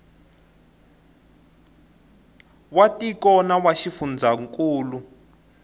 wa tiko na wa xifundzankulu